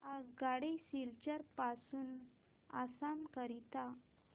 आगगाडी सिलचर पासून आसाम करीता